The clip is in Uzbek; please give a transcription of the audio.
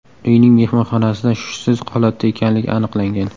uyning mehmonxonasida hushsiz holatda ekanligi aniqlangan.